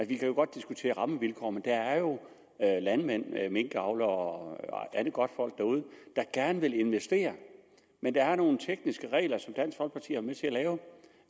vi kan godt diskutere rammevilkår men der er jo landmænd minkavlere og andet godtfolk derude der gerne vil investere men der er nogle tekniske regler som dansk folkeparti har været med til at lave